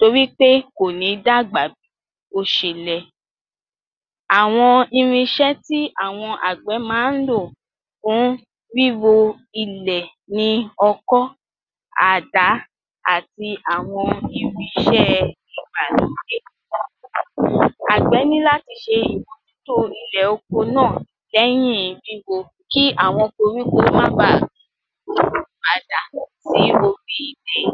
torí pé kò ní dàgbà bí o ṣe yẹ. Àwọn irinṣẹ́ tí àwọn Àgbẹ̀ máa ń lò fún ríro ilẹ̀ ní ọkọ́, àdá àti àwọn irinṣẹ́ ìgbà lódé. Àgbẹ̀ ni láti ṣe ìmọ̀jútó ilẹ̀ oko náà lẹ́yìn ríro kí àwọn koríko má bà padà sí orí ilẹ̀